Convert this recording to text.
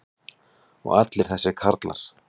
og allir þessir karlar.